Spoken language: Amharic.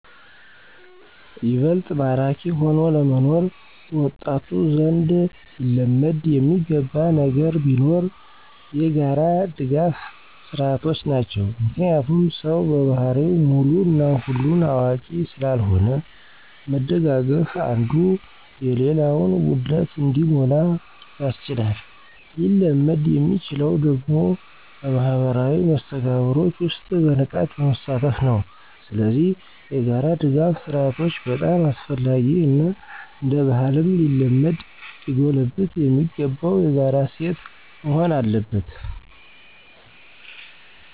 ይበልጥ ማራኪ ሆኖ ለመኖር በወጣቱ ዘንድ ሊለመድ የሚገባ ነገር ቢኖር የጋራ ድጋፍ ስርዓቶች ናቸው። ምክንያቱም ሰው በባህሪው ሙሉ እና ሁሉን አዋቂ ስላልሆነ መደጋገፉ አንዱ የሌላውን ጉድለት እንዲሞላ ያስችላል። ሊለመድ የሚችለው ደግሞ በማህበራዊ መስተጋብሮች ውስጥ በንቃት በመሳተፍ ነው። ስለዚህ የጋራ ድጋፍ ስርአቶች በጣም አስፈላጊ እና እንደባህልም ሊለመድ ሊጎለበት የሚገባው የጋራ እሴት መሆን አለበት።